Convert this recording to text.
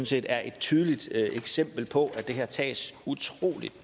set er et tydeligt eksempel på det her tages utrolig